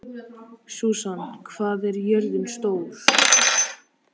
Susan, hvað er jörðin stór?